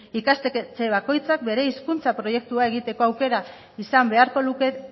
ikastetxe bakoitzak bere hizkuntza proiektua egiteko aukera izan beharko luke